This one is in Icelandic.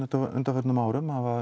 á undanförnum árum það